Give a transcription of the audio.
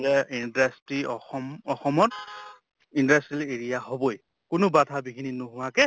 industry অসম অসমত industrial area হʼবই কোনো বাধা বিঘিণী নহোৱাকে